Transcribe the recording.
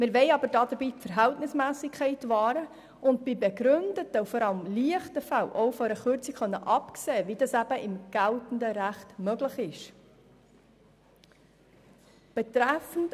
Wir wollen dabei aber die Verhältnismässigkeit wahren und bei begründeten und vor allem leichten Fällen auch von einer Kürzung absehen können, wie das im geltenden Recht möglich ist.